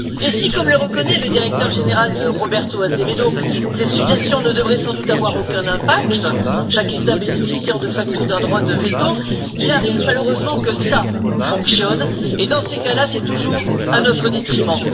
Et si, comme le reconnaît le directeur général Roberto Azevêdo, ces suggestions ne devraient sans doute avoir aucun impact chaque État bénéficiant de facto d'un droit de veto il arrive malheureusement que ça fonctionne et, dans ces cas là, c'est toujours à notre détriment.